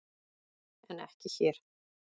En ekki hér!